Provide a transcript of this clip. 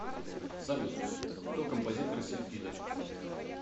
салют кто композитор сильфида